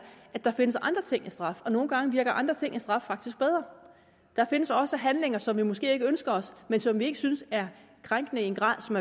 at der findes andre ting end straf og nogle gange virker andre ting end straf faktisk bedre der findes også handlinger som vi måske ikke ønsker os men som vi ikke synes er krænkende i en grad så